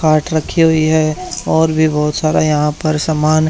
पाठ रखी हुई है और भी बहुत सारा यहां पर समान--